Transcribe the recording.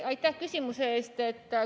Aitäh küsimuse eest!